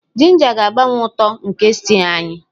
Ginger ga-agbanwe uto nke stew anyị.